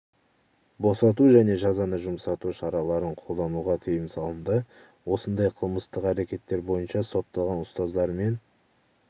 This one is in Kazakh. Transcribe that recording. босату және жазаны жұмсарту шараларын қолдануға тыйым салынды осындай қылмыстық әрекеттер бойынша сотталған ұстаздар мен